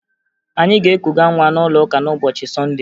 Anyị ga-ekuga nwa n'ụlọụka n'ụbọchị Sọnde